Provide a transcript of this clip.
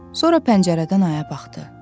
Sonra pəncərədən aya baxdı.